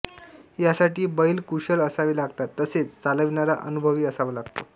यासाठी बैल कुशल असावे लागतात तसेच चालविणारा अनुभवी असावा लागतो